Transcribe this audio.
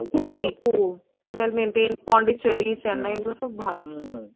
খুবই খুব total maintain Pondicherry Chennai এগুলো সব ভালো